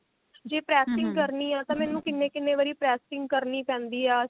ਜੇ pressing ਕਰਨੀ ਹੈਂ ਤਾਂ ਮੈਨੂੰ ਕਿੰਨੇ ਕਿੰਨੇ ਵਾਰੀ pressing ਕਰਨੀ ਪੈਂਦੀ ਆ